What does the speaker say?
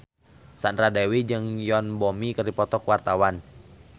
Sandra Dewi jeung Yoon Bomi keur dipoto ku wartawan